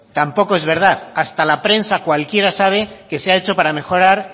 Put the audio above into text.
tampoco es verdad hasta la prensa cualquiera sabe que se ha hecho para mejorar